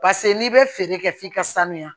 Paseke n'i bɛ feere kɛ f'i ka sanuya